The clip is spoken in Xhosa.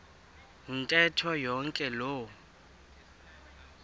ntetho yonke loo